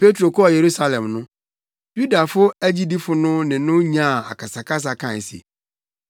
Petro kɔɔ Yerusalem no, Yudafo agyidifo no ne no nyaa akasakasa kae se,